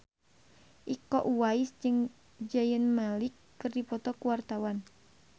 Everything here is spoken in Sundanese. Iko Uwais jeung Zayn Malik keur dipoto ku wartawan